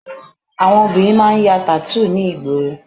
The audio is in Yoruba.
Àwọn ọmọbìnrin máa ń ya tattoo ní ìgboro